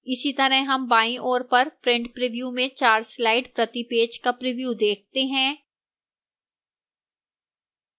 इसी तरह हम बाईं ओर पर print preview में चार slides प्रति पेज का प्रिव्यू देखते हैं